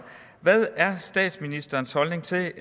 hvad er statsministerens holdning til at